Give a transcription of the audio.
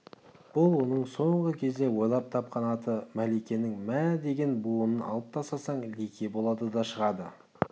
бұл оның соңғы кезде ойлап тапқан аты мәликенің мә деген буынын алып тастасаң лике болады да шығады